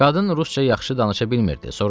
Qadın rusca yaxşı danışa bilmirdi.